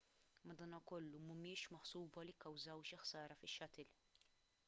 madankollu mhumiex maħsuba li kkawżaw xi ħsara fix-shuttle